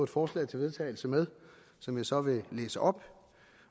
forslag til vedtagelse med som jeg så vil læse op